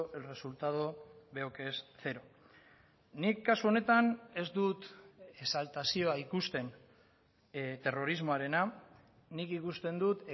el resultado veo que es cero nik kasu honetan ez dut exaltazioa ikusten terrorismoarena nik ikusten dut